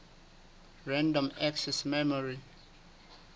random access memory